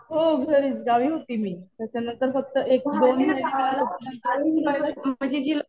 हो घरीच. गावी होते मी. त्याच्यानंतर फक्त एक दोन महिने नंतर मी लगेच